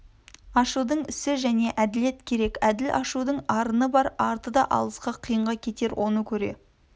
ашудың ісі және әділет керек әділ ашудың арыны бар арты да алысқа қиынға кетер оны көре